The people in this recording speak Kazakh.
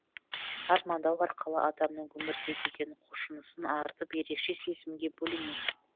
армандау арқылы адамның өмірге деген құлшынысын артып ерекше сезімге бөленесің